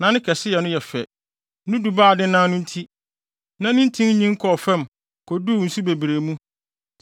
Na ne kɛseyɛ no yɛ fɛ, ne dubaa a adennan no nti, na ne ntin nyin kɔɔ fam koduu nsu bebree mu.